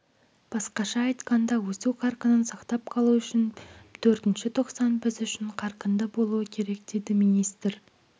басқаша айтқанда өсу қарқынын сақтап қалу үшін төртінші тоқсан біз үшін қарқынды болуы керек деді министр